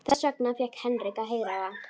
Þess vegna fékk Henrik að heyra það.